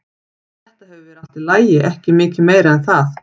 Þetta hefur verið allt í lagi, ekki mikið meira en það.